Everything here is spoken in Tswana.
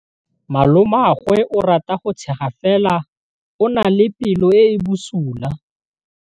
Malomagwe o rata go tshega fela o na le pelo e e bosula.